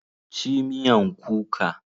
Ci mean kuka!